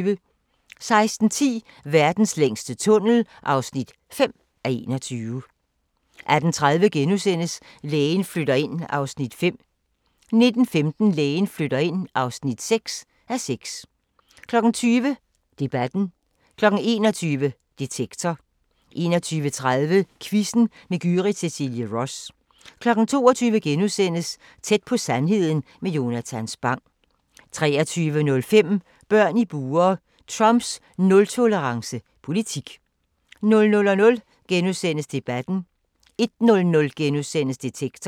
16:10: Verdens længste tunnel (5:21) 18:30: Lægen flytter ind (5:6)* 19:15: Lægen flytter ind (6:6) 20:00: Debatten 21:00: Detektor 21:30: Quizzen med Gyrith Cecilie Ross 22:00: Tæt på sandheden med Jonatan Spang * 23:05: Børn i bure – Trumps nul-tolerance politik 00:00: Debatten * 01:00: Detektor *